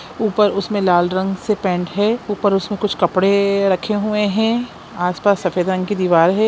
ऊपर उसमे लाल रंग से पेंट है ऊपर उसमें कुछ कपड़े रखे हुए है आसपास सफेद रंग की दीवार है।